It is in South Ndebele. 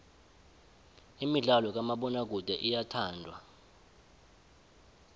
imidlalo kamabonakude iyathandwa